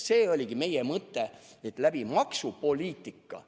See oligi meie mõte, maksupoliitika kaudu.